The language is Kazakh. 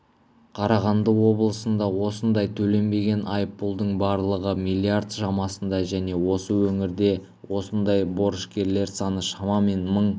қарағанды облысында осындай төленбеген айыппұлдың барлығы миллиард шамасында және осы өңірде осындай борышкерлер саны шамамен мың